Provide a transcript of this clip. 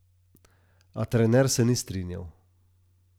A trener se ni strinjal.